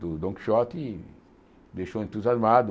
do Dom Quixote, deixou entusiasmado.